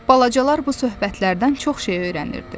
Balacalar bu söhbətlərdən çox şey öyrənirdi.